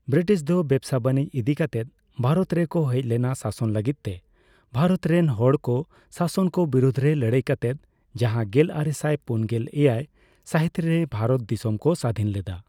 British ᱫᱚ ᱵᱮᱯᱥᱟ ᱵᱟᱱᱤᱡᱚ ᱤᱫᱤ ᱠᱟᱛᱮᱫ ᱵᱷᱟᱨᱚᱛ ᱨᱮ ᱠᱚ ᱦᱮᱡᱞᱮᱱᱟ ᱥᱟᱥᱚᱱ ᱞᱟᱹᱜᱤᱫ ᱛᱮ ᱵᱷᱟᱨᱚᱛ ᱨᱮᱱ ᱦᱚᱲᱠᱚ ᱥᱟᱥᱚᱱ ᱠᱚ ᱵᱤᱨᱩᱫ ᱨᱮ ᱞᱟᱹᱲᱦᱟᱹᱭ ᱠᱟᱛᱮᱫ ᱡᱟᱦᱟᱸ ᱜᱮᱞᱟᱨᱮᱥᱟᱭ ᱯᱩᱱᱜᱮᱞ ᱮᱭᱟᱭ ᱥᱟᱦᱤᱛᱨᱮ ᱵᱷᱟᱨᱚᱛ ᱫᱤᱥᱚᱢ ᱠᱚ ᱥᱟᱹᱫᱷᱤᱱ ᱞᱮᱫᱟ ᱾